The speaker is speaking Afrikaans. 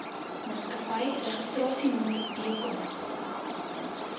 maatskappy registrasienommer bk